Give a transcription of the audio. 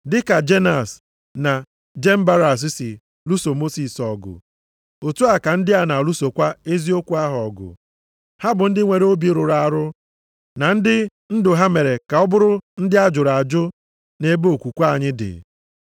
Dị ka Jenas na Jembaras si lụso Mosis ọgụ, otu a ka ndị a na-alụsokwa eziokwu ahụ ọgụ. Ha bụ ndị nwere obi rụrụ arụ, na ndị ndụ ha mere ka ha bụrụ ndị a jụrụ ajụ nʼebe okwukwe anyị dị.